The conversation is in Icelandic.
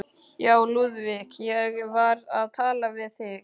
Já, Lúðvík, ég var að tala við þig.